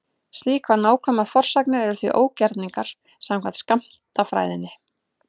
Slíkar nákvæmar forsagnir eru því ógerningur samkvæmt skammtafræðinni.